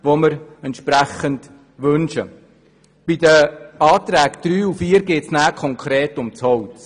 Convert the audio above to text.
Bei den Anträgen 3 und 4 geht es dann konkret ums Holz.